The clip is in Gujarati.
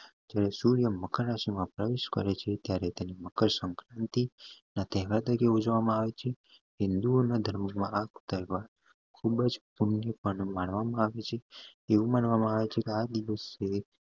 જ્યારે સૂર્ય મકર રાશી માં પ્રવેશ કરે છે ત્યારે તેને મકર સંક્રાંતિ ના તહેવાર તરીકે ઉજવામાં આવે છે હિન્દુઓ ના ધર્મ માં આ તહેવાર ખુબજ માનવા માં આવે છે એવું માનવા માં આવે છે આ દિવસે